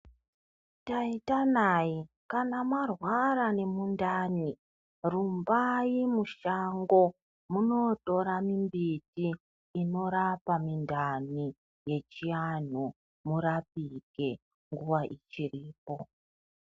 Taita nayi, kana mwarwara nemundani, rumbai mushango munootora mimbiti inorapa mindani, yechiantu , murapike nguwa ichiripo.